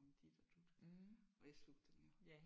om dit og dut og jeg slugte dem jo